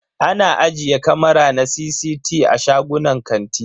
Ana ajiye kamara na CCT a shagunan kanti.